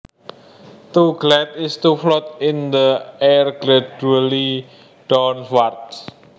To glide is to float in the air gradually downwards